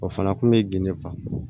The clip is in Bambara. O fana kun bɛ gende fa